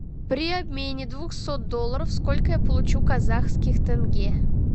при обмене двухсот долларов сколько я получу казахских тенге